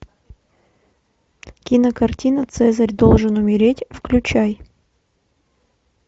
кинокартина цезарь должен умереть включай